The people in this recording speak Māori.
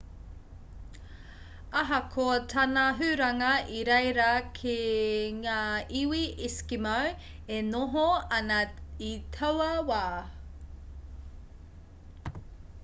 ahakoa tāna huranga i reira kē ngā iwi eskimo e noho ana i taua wā